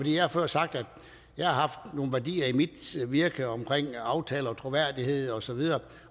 jeg har før sagt at jeg har nogle værdier i mit virke omkring aftaler og troværdighed osv